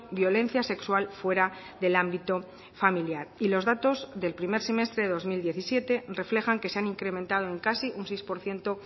violencia sexual fuera del ámbito familiar y los datos del primer semestre de dos mil diecisiete reflejan que se han incrementado en casi un seis por ciento